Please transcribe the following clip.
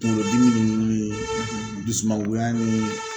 Kunkolodimi ninnu dusumangoya ni